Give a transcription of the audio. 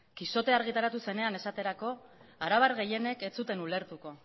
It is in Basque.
quijotea argitaratu zenean esaterako arabar gehienek ez zuten ulertuko